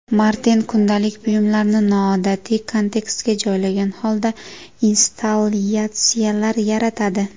Marten kundalik buyumlarni noodatiy kontekstga joylagan holda, installyatsiyalar yaratadi.